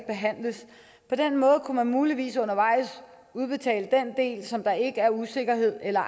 behandles på den måde kunne man muligvis undervejs udbetale den del som der ikke er usikkerhed om eller